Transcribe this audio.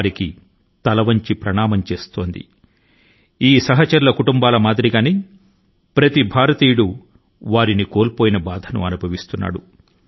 వారి కుటుంబ సభ్యుల మాదిరి గానే జరిగిన నష్టాని కి ప్రతి భారతీయుడు వేదన ను వ్యక్తపరుస్తున్నారు